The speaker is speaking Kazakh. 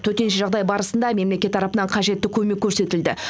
төтенше жағдай барысында мемлекет тарапынан қажетті көмек көрсетілді